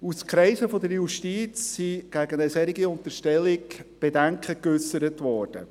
Aus Kreisen der Justiz sind gegen eine solche Unterstellung Bedenken geäussert worden.